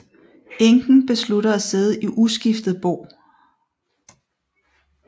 Enken beslutter at sidde i uskiftet bo